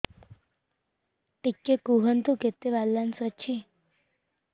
ଟିକେ କୁହନ୍ତୁ କେତେ ବାଲାନ୍ସ ଅଛି